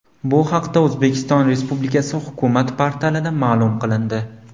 Bu haqda O‘zbekiston Respublikasi hukumat portalida ma’lum qilindi .